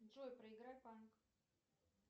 джой проиграй панк